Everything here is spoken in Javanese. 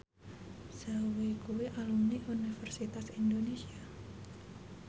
Zhao Wei kuwi alumni Universitas Indonesia